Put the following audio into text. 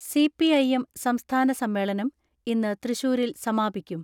CPI (M) സംസ്ഥാന സമ്മേളനം ഇന്ന് തൃശൂരിൽ സമാപിക്കും.